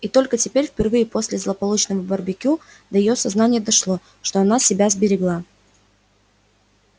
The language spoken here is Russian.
и только теперь впервые после злополучного барбекю до её сознания дошло на что она себя обрекла